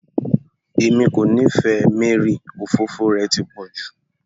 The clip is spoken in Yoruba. Emily kò nífẹẹ Mary, òfófó rẹ̀ ti pọ̀ jù